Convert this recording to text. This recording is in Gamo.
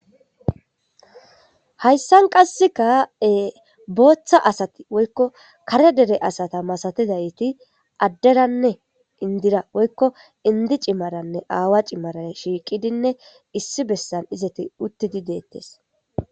Hayssan qasekka booththa asati woykko kare dere asata masatidayti adderanne indira woykko indi cimaranne aawa cimaran shiiqidinne issi bessan izeti uuttidii deettes